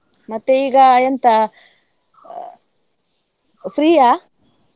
ಮತ್ತೆ ಈಗ ಎಂಥಾ ಅ free ಯಾ?